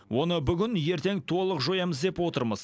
оны бүгін ертең толық жоямыз деп отырмыз